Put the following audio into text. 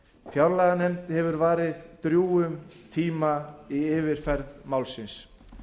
fjárlaganefnd hefur varið drjúgum tíma í yfirferð málsins